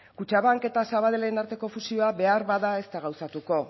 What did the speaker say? kutxabank eta sabadellen arteko fusioa beharbada ez da gauzatuko